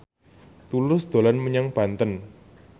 Tulus dolan menyang Banten